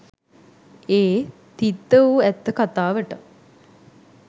ඒ තිත්ත වූ ඇත්ත කතාවට